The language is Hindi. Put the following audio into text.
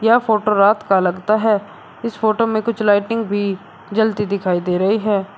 यह फोटो रात का लगता है इस फोटो में कुछ लाइटिंग भी जलती दिखाई दे रही है।